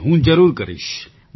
જી હું જરૂર કરીશ